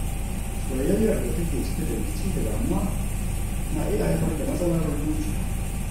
Soyayyar da take cike da rikici da damuwa na iya haifar da matsalar zuciya.